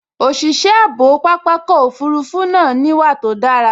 Òṣìṣẹ́ ààbò pápákọ̀ òfurufú náà níwà tó dára